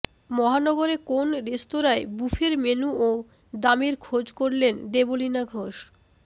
মহানগরে কোন রেস্তোরাঁয় বুফের মেনু ও দামের খোঁজ করলেন দেবলীনা ঘোষ